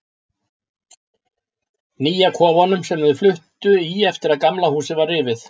Nýja kofanum, sem þau fluttu í eftir að Gamla húsið var rifið.